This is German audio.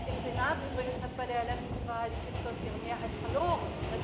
Im Senat übrigens hat bei der letzten Wahl die PiS ihre Mehrheit verloren.